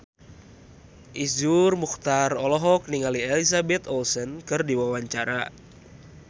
Iszur Muchtar olohok ningali Elizabeth Olsen keur diwawancara